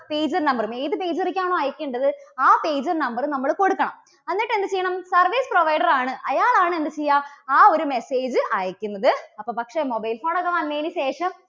pager number റും ഏത് pager ലേക്ക് ആണോ അയക്കേണ്ടത്, ആ pager number നമ്മള് കൊടുക്കണം. എന്നിട്ട് എന്ത് ചെയ്യണം, service provider ആണ് അയാളാണ് എന്ത് ചെയ്യുക, ആ ഒരു message അയക്കുന്നത്. അപ്പോ പക്ഷേ mobile phone ഒക്കെ വന്നതിനുശേഷം